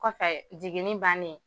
Kɔfɛ jiginni bannen